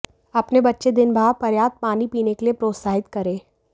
अपने बच्चे दिन बाहर पर्याप्त पानी पीने के लिए प्रोत्साहित करें